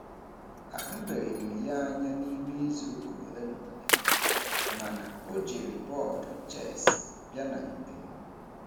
A hụbeghị m ya anya n'ime izuụka ole na ole, ma na o jiri bọọdụ chess bịa na nkem.